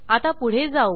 आता पुढे जाऊ